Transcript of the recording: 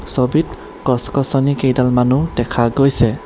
ছবিত গছ-গছনি কেইডালমনো দেখা গৈছে।